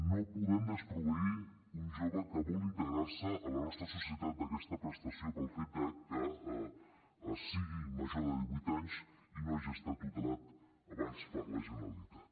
no podem desproveir un jove que vol integrar se a la nostra societat d’aquesta prestació pel fet de que sigui major de divuit anys i no hagi estat tutelat abans per la generalitat